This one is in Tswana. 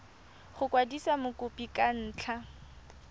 go kwadisa mokopi ka ntlha